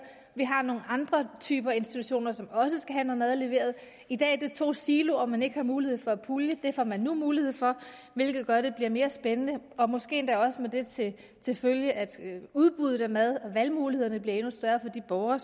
og man har andre typer af institutioner som også skal have noget mad leveret i dag er det to siloer man ikke har mulighed for at pulje det får man nu mulighed for hvilket gør at det bliver mere spændende og måske endda også med det til følge at udbuddet af mad valgmulighederne bliver endnu større for de borgere